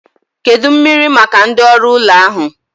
Kedụ mmiri maka ndị oru ụlọ ahu?